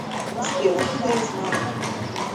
сбер откуда я знаю